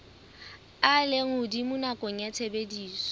a lehodimo nakong ya tshebediso